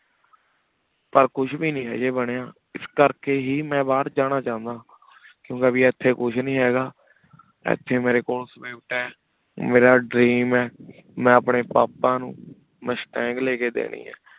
ਪਰ ਕੁਛ ਵੇ ਨਹੀ ਹਾਜੀ ਬਨਯ ਇਸ ਕਰ ਕੀ ਹੇ ਮੈਂ ਬਹਿਰ ਜਾਣਾ ਚਾਹੰਦਾ ਕੁੰਕ੍ਯ ਭੀ ਇਥੀ ਕੁਛ ਨਹੀ ਹੇਗਾ ਇਥੀ ਮੇਰੇ ਕੋਲ ਮੇਰਾ dream ਹੈ ਮੈਂ ਅਪਨੀ ਪਾਪਾ ਨੂ ਮੁਸ਼੍ਤਾੰਗ ਲੈ ਕੀ ਦੇਣੀ